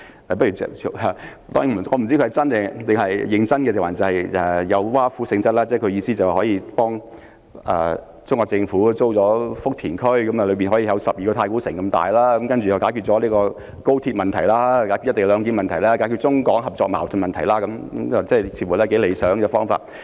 我不知道他是認真提出建議，還是有挖苦性質，但基本上，他的意思是政府可以向中國政府租用有12個太古城那麼大的福田區，用以興建房屋，這樣便可以解決高鐵問題、"一地兩檢"問題，以及中港合作或矛盾的問題，似乎是頗理想的方法。